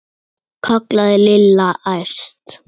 kallaði Lilla æst.